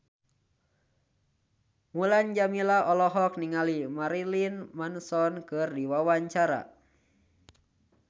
Mulan Jameela olohok ningali Marilyn Manson keur diwawancara